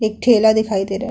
एक ठेला दिखाई दे रहा है।